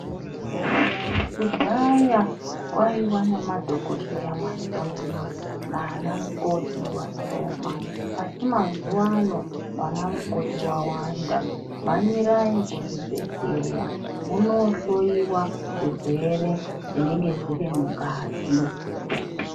Kudhaya kwaiva nemadhokodheya mashomana nanamukoti vashoma asi mazuvano vana mukoti vawanda mhanyirai kuzvibhedhlera munohloyiwa zvirwere zvinenge zvirimungazi .